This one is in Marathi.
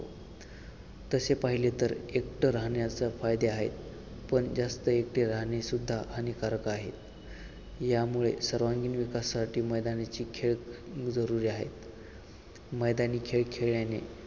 तसे पाहिले तर एकटे राहण्याचे फायदे आहेत पण जास्त एकटे राहणे सुद्धा हानिकारक आहे यामुळे सर्वांगीण विकासासाठी मैदानाचे खेळ जजुरी आहेत मैदानी खेळ खेळल्याने